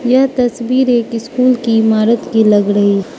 यह तस्वीर एक स्कूल की इमारत की लग रही--